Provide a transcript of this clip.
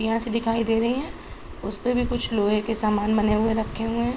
यहाँ से दिखाई दे रही हैं उसपे भी कुछ लोहे के सामान बने हुए रखे हुए हैं।